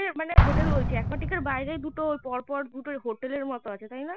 মানে হোটেল বলছি aquatica বাইরে দুটো পরপর দুটো হোটেলের মতো আছে তা না